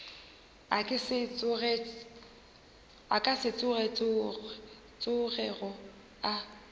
a ka se tsogego a